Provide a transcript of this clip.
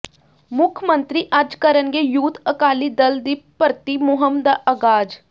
ਮੁੱਖ ਮੰਤਰੀ ਅੱਜ ਕਰਨਗੇ ਯੂਥ ਅਕਾਲੀ ਦਲ ਦੀ ਭਰਤੀ ਮੁਹਿੰਮ ਦਾ ਆਗਾਜ਼